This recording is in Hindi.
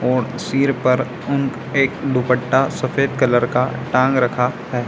और सिर पर उन एक दुपट्टा सफेद कलर का टांग रखा है।